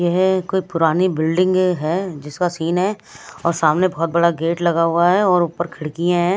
यह कोई पुरानी बिल्डिंग है जिसका सीन है और सामने बहुत बड़ा गेट लगा हुआ है और ऊपर खिड़किये है।